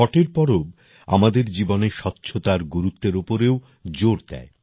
ছটের পর্ব আমাদের জীবনে স্বচ্ছতার গুরুত্বের উপরও জোর দেয়